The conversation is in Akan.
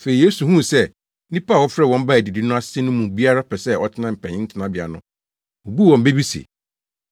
Afei Yesu huu sɛ nnipa a wɔfrɛɛ wɔn baa adidi no ase no mu biara pɛ sɛ ɔtena mpanyin tenabea no, obuu wɔn bɛ bi se,